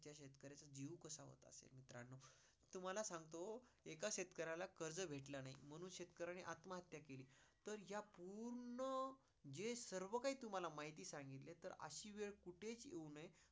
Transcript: तुम्हाला सांगतो एका शेतकऱ्याला कर्ज भेटला नाही म्हणून शेतकऱ्याने आत्महत्या केली. तर या पूर्ण जे सर्व काही तुम्हाला माहिती सांगितली तर अशी वेळ कुठेच येऊ नये